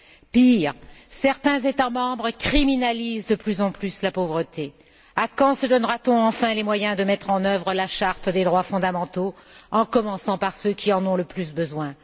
Pire, certains États membres criminalisent de plus en plus la pauvreté. Quand se donnera t on enfin les moyens de mettre en œuvre la Charte des droits fondamentaux, en commençant par ceux qui en ont le plus besoin?